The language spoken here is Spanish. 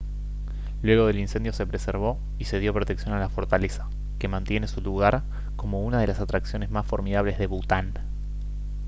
luego del incendio se preservó y se dio protección a la fortaleza que mantiene su lugar como una de las atracciones más formidables de bután